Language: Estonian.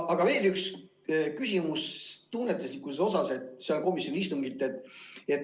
Aga veel üks küsimus tunnetuslikkuse kohta sealt komisjoni istungilt.